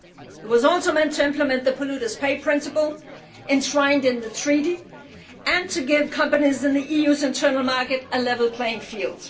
It was also meant to implement the polluter pays' principle enshrined in the Treaty and to give companies in the EU's internal market a level playing field.